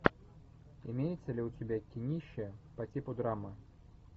имеется ли у тебя кинище по типу драмы